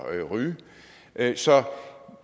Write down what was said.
ryge så